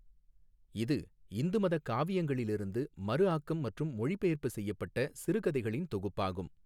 இது இந்து மதக் காவியங்களிலிருந்து மறுஆக்கம் மற்றும் மொழிபெயர்ப்பு செய்யப்பட்ட சிறுகதைகளின் தொகுப்பாகும்.